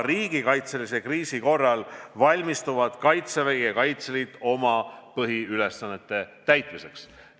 Riigikaitselise kriisi korral valmistuvad Kaitsevägi ja Kaitseliit oma põhiülesannete täitmiseks.